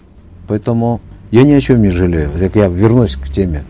поэтому я ни о чем не жалею так я вернусь к теме